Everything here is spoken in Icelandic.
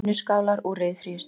Vinnuskálar úr ryðfríu stáli.